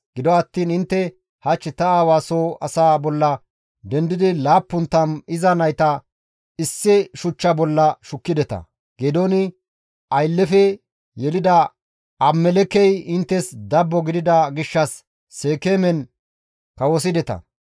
Gido attiin intte hach ta aawa soo asaa bolla dendidi 70 iza nayta issi shuchcha bolla shukkideta; Geedooni aylleyfe yelida Abimelekkey inttes dabbo gidida gishshas Seekeemen kawosideta.